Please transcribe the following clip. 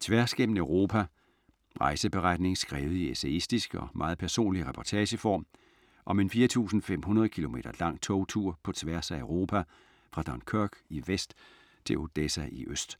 Tværs gennem Europa Rejseberetning skrevet i essayistisk og meget personlig reportageform om en 4500 km lang togtur på tværs af Europa fra Dunkerque i vest til Odessa i øst.